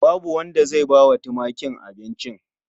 Babu wanda zai bawa tumakin abincin.